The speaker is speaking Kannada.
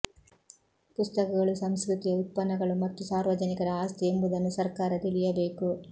ಪುಸ್ತಕಗಳು ಸಂಸ್ಕೃತಿಯ ಉತ್ಪನ್ನಗಳು ಮತ್ತು ಸಾರ್ವಜನಿಕರ ಆಸ್ತಿ ಎಂಬುದನ್ನು ಸರ್ಕಾರ ತಿಳಿಯಬೇಕು